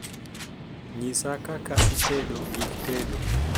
nyisa kaka itedo gik tedo